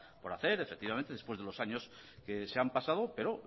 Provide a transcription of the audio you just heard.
por hacer efectivamente después de los años que se han pasado pero